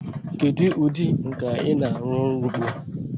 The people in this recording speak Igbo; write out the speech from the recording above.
Kedu ụdị nka ị na-arụ ọrụ ugbu a?